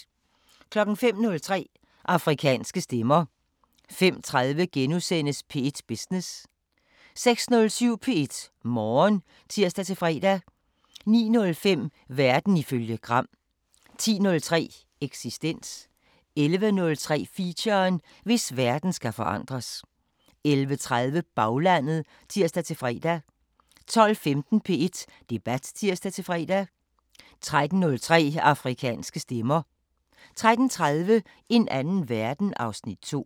05:03: Afrikanske Stemmer 05:30: P1 Business * 06:07: P1 Morgen (tir-fre) 09:05: Verden ifølge Gram 10:03: Eksistens 11:03: Feature: Hvis verden skal forandres 11:30: Baglandet (tir-fre) 12:15: P1 Debat (tir-fre) 13:03: Afrikanske Stemmer 13:30: En anden verden (Afs. 2)